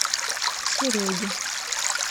сереге